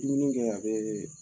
Dumuni kɛ a bɛ